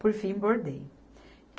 Por fim, bordei.